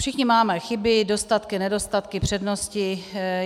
Všichni máme chyby, dostatky, nedostatky, přednosti.